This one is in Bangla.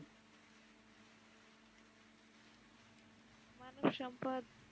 মানবসম্পদ